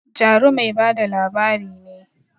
Jaru mai ba da labari ne